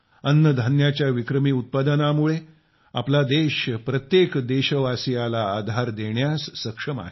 अन्नधान्याच्या विक्रमी उत्पादनामुळे आपला देश प्रत्येक देशवासियाला देशाला आधार देण्यास सक्षम आहे